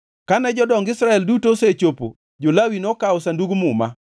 Kane jodong Israel duto osechopo jo-Lawi nokawo Sandug Muma,